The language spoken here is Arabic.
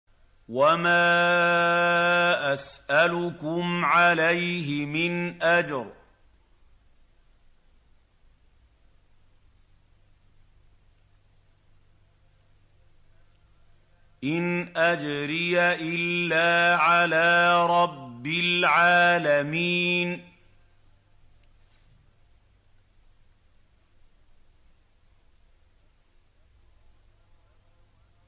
وَمَا أَسْأَلُكُمْ عَلَيْهِ مِنْ أَجْرٍ ۖ إِنْ أَجْرِيَ إِلَّا عَلَىٰ رَبِّ الْعَالَمِينَ